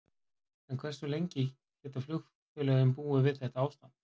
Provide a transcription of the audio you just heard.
En hversu lengi geta flugfélögin búið við þetta ástand?